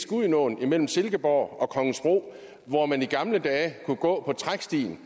gudenåen imellem silkeborg og kongensbro hvor man i gamle dage kunne gå på trækstien